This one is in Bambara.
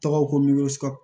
Tɔgɔ ko